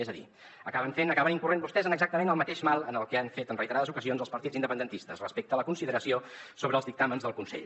és a dir acaben fent acaben incorrent vostès en exactament el mateix mal que han fet en reiterades ocasions els partits independentistes respecte a la consideració sobre els dictàmens del consell